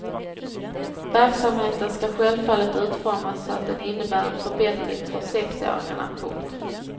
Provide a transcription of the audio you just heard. Verksamheten skall självfallet utformas så att den innebär en förbättring för sexåringarna. punkt